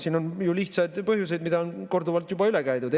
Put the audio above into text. Siin on ju lihtsad põhjused, mida on korduvalt juba üle käidud.